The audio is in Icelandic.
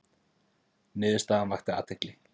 Niðurstaðan vakti athygli